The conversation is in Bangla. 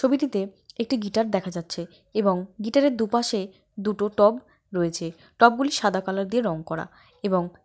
ছবিটিতে একটি গিটার দেখা যাচ্ছে এবং গিটারের দুপাশে দুটো টব রয়েছে। টবগুলি সাদা কালার দিয়ে রং করা এবং--